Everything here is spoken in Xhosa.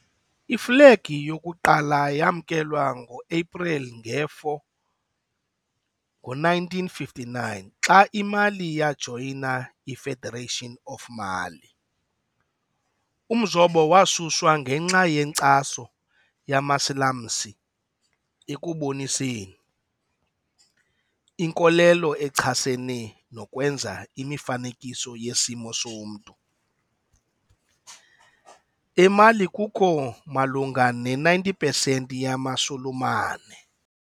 Iflegi yokuqala yamkelwa ngo-Aprili 4, 1959, xa iMali yajoyina i-Federation of Mali. Umzobo wasuswa ngenxa yenkcaso yamaSilamsi ekuboniseni, inkolelo echasene nokwenza imifanekiso yesimo somntu, eMali kukho malunga ne-90 pesenti yamaSulumane.